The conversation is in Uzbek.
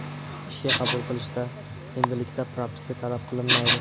Ishga qabul qilishda endilikda propiska talab qilinmaydi.